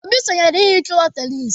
Obi sonyeere ihicha ụlọ tenis.